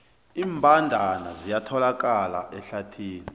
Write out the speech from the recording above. iimbandana ziyatholakala ehlathini